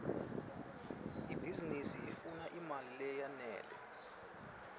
ibhizinisi ifuna imali leyenele